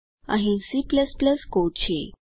અહીં C code છે